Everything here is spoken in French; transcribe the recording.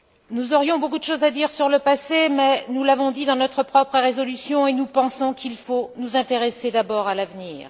Nous aurions beaucoup de choses à dire sur le passé, mais nous l'avons dit dans notre propre résolution et nous pensons qu'il faut nous intéresser d'abord à l'avenir.